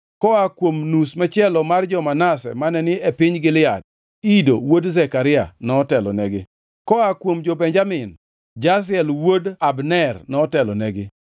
koa kuom nus machielo mar jo-Manase mane ni e piny Gilead: Ido wuod Zekaria notelonegi; koa kuom jo-Benjamin: Jasiel wuod Abner notelonegi;